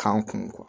K'an kun